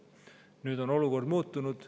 Nüüd on olukord muutunud.